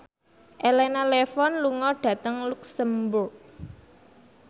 Elena Levon lunga dhateng luxemburg